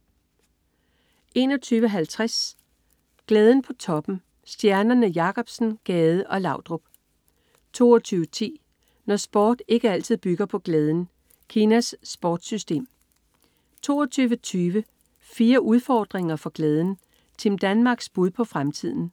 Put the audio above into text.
21.50 Glæden på toppen. Stjernerne Jacobsen, Gade og Laudrup 22.10 Når sport ikke altid bygger på glæden. Kinas sportssystem 22.20 Fire udfordringer for glæden. Team Danmarks bud på fremtiden